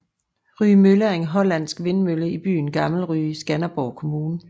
Rye Mølle er en hollandsk vindmølle i byen Gammel Rye i Skanderborg Kommune